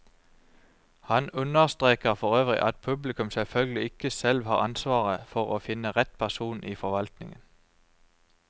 Han understreker forøvrig at publikum selvfølgelig ikke selv har ansvaret for å finne rett person i forvaltningen.